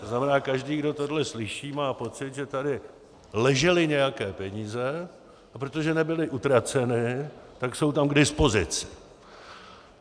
To znamená, každý, kdo tohle slyší, má pocit, že tady ležely nějaké peníze, a protože nebyly utraceny, tak jsou tam k dispozici.